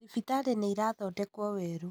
Thibitarĩ nĩ ĩrathondekwo werũ